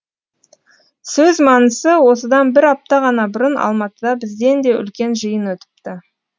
сөз мәнісі осыдан бір апта ғана бұрын алматыда бізден де үлкен жиын өтіпті